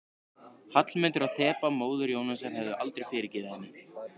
Hallmundur og Þeba, móðir Jónasar, hefðu aldrei fyrirgefið henni.